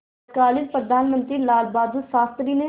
तत्कालीन प्रधानमंत्री लालबहादुर शास्त्री ने